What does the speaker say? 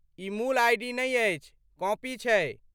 ई मूल आइ.डी. नै अछि, कॉपी छै।